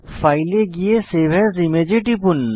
file এ গিয়ে save as image এ টিপুন